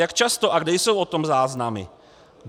Jak často a kde jsou o tom záznamy?